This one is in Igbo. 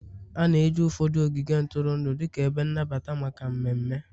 A na-eji ụfọdụ ogige ntụrụndụ dịka ebe nnabata maka mmemme